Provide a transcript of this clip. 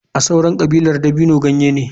A sauran kabilar dabino ganye ne.